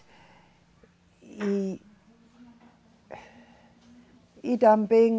E E também...